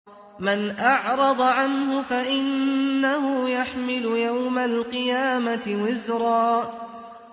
مَّنْ أَعْرَضَ عَنْهُ فَإِنَّهُ يَحْمِلُ يَوْمَ الْقِيَامَةِ وِزْرًا